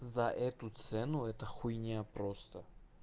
за эту цену это хуйня просто